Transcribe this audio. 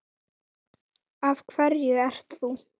Af hverju ert þú?